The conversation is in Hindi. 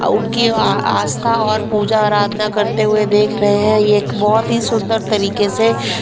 उनकी आस्था और पूजा आराधना करते हुए देख रहे हैं ये एक बहुत ही सुंदर तरीके से --